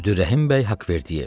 Əbdürrəhimbəy Haqvverdiyev.